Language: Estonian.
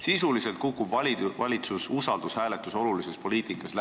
Sisuliselt kukub läbi valitsuse usalduse hääletus olulises poliitikas.